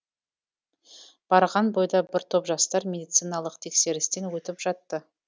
барған бойда бір топ жастар медициналық тексерістен өтіп жатты